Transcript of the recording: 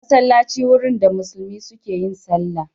Masallaci wurin da musulmi suke yin sallah.